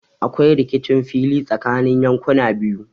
Aƙwai rikicin fili tsakanni yanƙuna biyu.